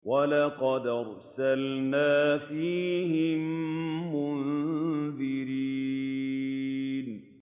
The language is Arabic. وَلَقَدْ أَرْسَلْنَا فِيهِم مُّنذِرِينَ